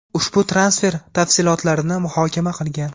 ushbu transfer tafsilotlarini muhokama qilgan.